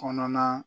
Kɔnɔna